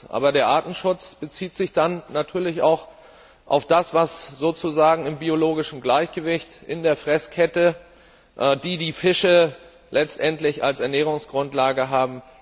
Aber der Artenschutz bezieht sich dann natürlich auch auf das, was im biologischen Gleichgewicht in der Nahrungskette die Fische letztendlich als Ernährungsgrundlage hat.